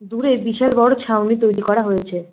দূরে বিশাল বড়ো ছাউনি তৈরি করা হয়েছে।